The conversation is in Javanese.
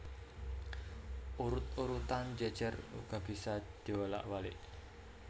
Urut urutan jejer uga bisa diwolak walik